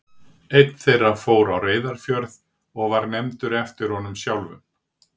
Einn þeirra fór á Reyðarfjörð og var nefndur eftir honum sjálfum.